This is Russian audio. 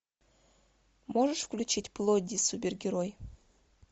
можешь включить плодди супергерой